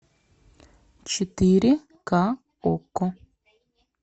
четыре ка окко